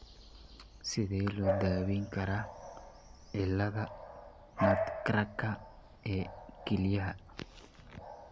Sidee loo daweyn karaa cilladda nutcracker ee kelyaha?